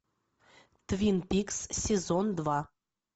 твин пикс сезон два